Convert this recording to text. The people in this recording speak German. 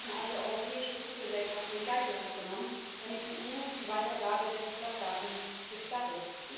Es werden also europäische Fluggesellschaften in Geiselhaft genommen, damit die EU die Weitergabe der Fluggastdaten gestattet.